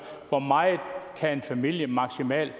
hvor meget en familie maksimalt